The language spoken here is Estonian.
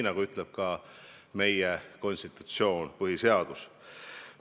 Seda ütleb ka meie konstitutsioon, põhiseadus.